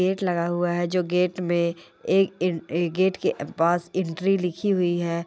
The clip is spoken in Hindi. गेट लगा हुआ है जो गेट में एक गेट के पास एंट्री लिखी हुई है।